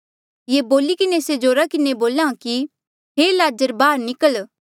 ये बोली किन्हें से जोरा किन्हें बोलेया कि हे लाज़र बाहर निकल